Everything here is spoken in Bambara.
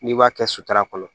N'i b'a kɛ sutara kɔnɔ